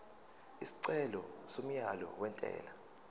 isicelo somyalo wentela